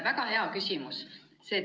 Väga hea küsimus.